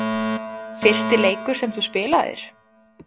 Fyrsti leikur sem þú spilaðir?